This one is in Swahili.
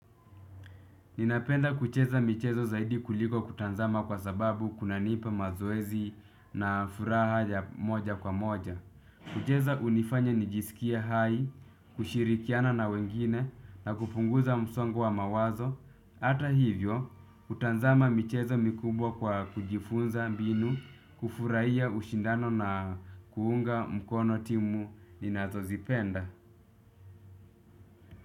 Ninapenda kucheza michezo zaidi kuliko kutazama kwa sababu kunanipa mazoezi na furaha ya moja kwa moja. Kucheza hunifanya nijisikie hai, kushirikiana na wengine na kupunguza msongo wa mawazo. Hata hivyo, hutanzama michezo mikubwa kwa kujifunza mbinu, kufurahia ushindano na kuunga mkono timu ninazozipenda.